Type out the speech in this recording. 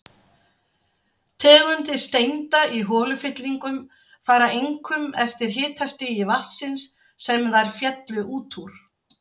Tegundir steinda í holufyllingum fara einkum eftir hitastigi vatnsins, sem þær féllu út úr.